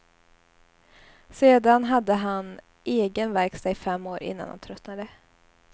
Sedan hade han egen verkstad i fem år innan han tröttnade.